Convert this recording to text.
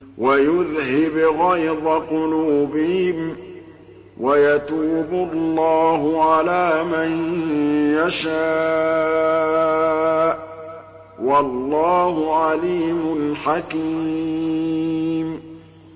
وَيُذْهِبْ غَيْظَ قُلُوبِهِمْ ۗ وَيَتُوبُ اللَّهُ عَلَىٰ مَن يَشَاءُ ۗ وَاللَّهُ عَلِيمٌ حَكِيمٌ